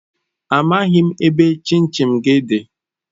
Amaghim ebe chin chin gi di.